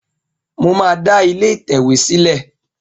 Mo máa da ilé ìtẹ̀wé sìlé